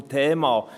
Zum Thema: